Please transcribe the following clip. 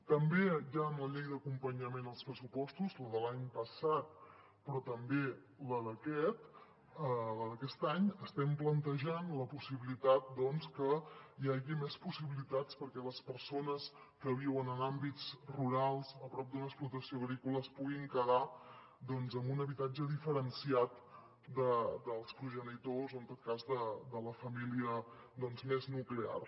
també ja en la llei d’acompanyament als pressupostos la de l’any passat però també la d’aquest any estem plantejant la possibilitat que hi hagi més possibilitats perquè les persones que viuen en àmbits rurals a prop d’una explotació agrícola es puguin quedar en un habitatge diferenciat dels progenitors o en tot cas de la família més nuclear